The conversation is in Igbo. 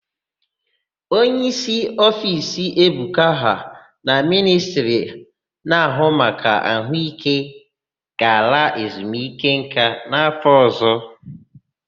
Onyeísí ofiisi Ebuka ha na Ministri na-áhụ́ maka àhụ́íké ga-ala ezumikeńká n'áfọ̀ ọ̀zọ́.